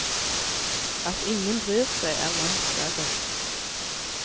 At ingen bryr seg er langt verre.